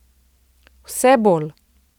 Vse bolj.